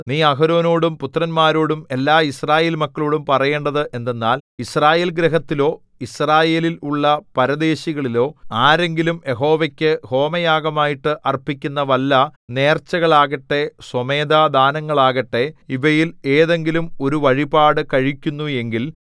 നീ അഹരോനോടും പുത്രന്മാരോടും എല്ലായിസ്രായേൽമക്കളോടും പറയേണ്ടത് എന്തെന്നാൽ യിസ്രായേൽഗൃഹത്തിലോ യിസ്രായേലിൽ ഉള്ള പരദേശികളിലോ ആരെങ്കിലും യഹോവയ്ക്കു ഹോമയാഗമായിട്ട് അർപ്പിക്കുന്ന വല്ല നേർച്ചകളാകട്ടെ സ്വമേധാദാനങ്ങളാകട്ടെ ഇവയിൽ ഏതെങ്കിലും ഒരു വഴിപാട് കഴിക്കുന്നു എങ്കിൽ